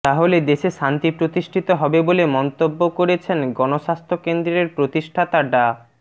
তাহলে দেশে শান্তি প্রতিষ্ঠিত হবে বলে মন্তব্য করেছেন গণস্বাস্থ্য কেন্দ্রের প্রতিষ্ঠাতা ডা